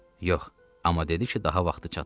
Yox, amma dedi ki, daha vaxtı çatıb.